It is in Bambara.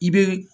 I be